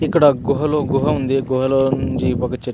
ఇక్కడ గుహలో గుహ ఉంది. గుహలోంచి ఒక చెట్టు --